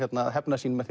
að hefna sín með